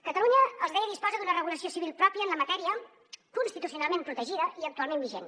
catalunya els deia disposa d’una regulació civil pròpia en la matèria constitucionalment protegida i actualment vigent